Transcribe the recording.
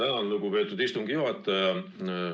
Tänan, lugupeetud istungi juhataja!